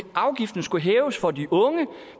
afgiften skulle hæves for de unge